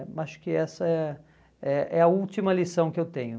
Acho que essa é é é a última lição que eu tenho.